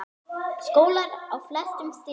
Skólar á flestum stigum.